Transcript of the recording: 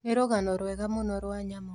Nĩ rũgano rwega mũno rwa nyamũ.